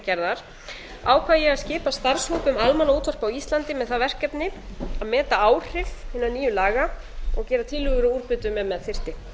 gerðar ákvað ég að skipa starfshóp um almannaútvarp á íslandi með það verkefni að meta áhrif hinna nýju laga og gera tillögur um úrbætur ef með þyrfti